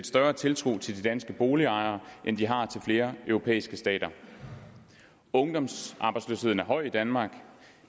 større tiltro til de danske boligejere end de har til flere europæiske stater ungdomsarbejdsløsheden er høj i danmark